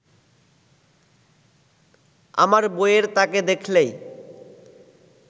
আমার বইয়ের তাকে দেখলেই